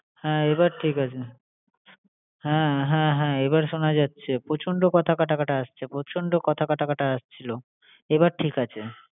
হ্যাঁ এবার ঠিক আছে। হ্যাঁ হ্যাঁ হ্যাঁ এবার শোনা যাচ্ছে প্রচন্ড কথা কাটাকাটি আসছে, প্রচন্ড কথা কাটাকাটি আসছিলো।